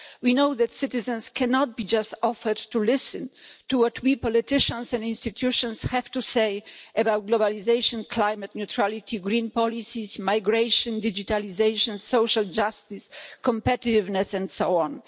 We know that citizens cannot just be offered the option to listen to what we politicians and institutions have to say about globalisation, climate neutrality, green policies, migration, digitalisation, social justice, competitiveness, and so on.